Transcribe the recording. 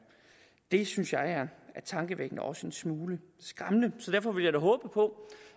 det synes jeg er tankevækkende også en smule skræmmende så derfor vil jeg da håbe på